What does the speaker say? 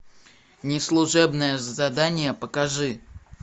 неслужебное задание покажи